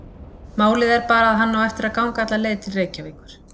Málið er bara að hann á eftir að ganga alla leið til Reykjavíkur.